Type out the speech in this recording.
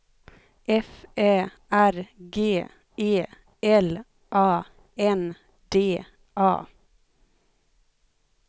F Ä R G E L A N D A